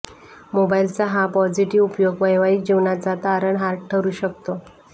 मोबाइलचा हा पॉझिटिव्ह उपयोग वैवाहिक जीवनाचा तारणहार ठरू शकतो